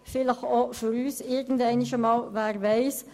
Wer weiss, ob es auch für uns dereinst überlebenswichtig sein wird.